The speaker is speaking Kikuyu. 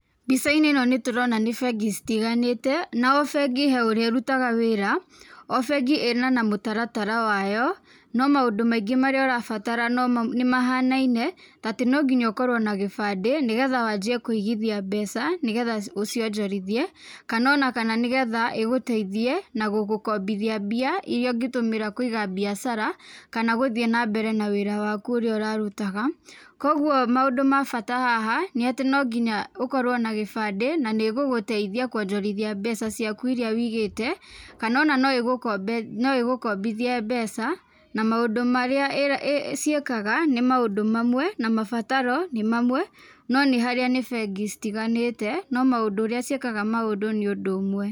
Mbica-inĩ ĩ no nĩtũrona nĩ bengi citiganĩte. Na o bengi he ũrĩa ĩrutaga wĩra. O bengi ĩna mũtaratara wayo, no maũndũ marĩa marabatara nĩ mahanaine ta atĩ no nginya ũkorwo na gĩbandĩ nĩgetha wanjie kũigithia mbeca nĩgetha ũcionjorithie kana o na kana igũteithie na gũgũkombithia mbia irĩa ungĩtũmĩra kũiga biacara kana gũthiĩ na mbere na wĩra waku ũrĩa ũrarutaga. Kogwo maũndũ mabata haha nĩ atĩ no nginya ũkorwo na gĩbandĩ na nĩĩgũgũteithia kuonjorithia mbeca ciaku irĩa wĩigĩte kana o na no igũkombithie mbeca na maũndũ marĩa cĩĩkaga nĩ maũndũ mamwe na mabataro nĩ mamwe no nĩ harĩa ni bengi citiganĩte no maũndũ ũrĩa cĩĩkaga maũndũ nĩ ũndũ ũmwe.